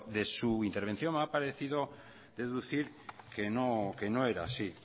de su intervención me ha parecido deducir que no era así